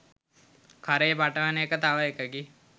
කරේ පටවන එක තව එකකි.